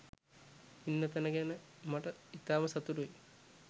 ඉන්න තැන ගැන මට ඉතාම සතුටුයි.